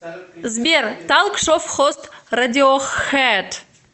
сбер талк шов хост радиохэд